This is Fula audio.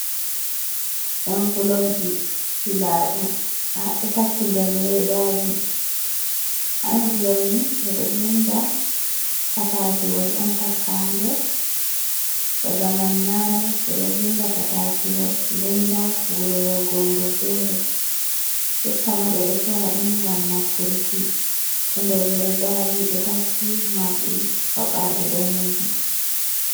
Envelobji siladum ha ɗo takki ɗen leɗaji. Envolop ni bedo vinɗa patakiwol on takka ha ɗer. Ba zamanu nane be ɗo vinɗa patakiwol lenɗa wuro yahugo wuro fere. Jottama be ɗo sora ɗum gam nafturki. Ɗo nɗer leɗɗaji ɗo takki marɗi fabaje ɗaneji.